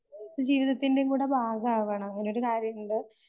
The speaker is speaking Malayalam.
ജീവിതത്തിൻറെ കൂടെ ഭാഗ ആവണം അങ്ങനെയൊരു കാര്യമുണ്ട്.